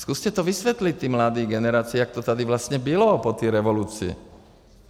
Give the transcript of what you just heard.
Zkuste to vysvětlit té mladé generaci, jak to tady vlastně bylo po té revoluci.